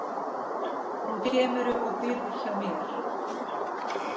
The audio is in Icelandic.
Nú kemurðu og býrð hjá mér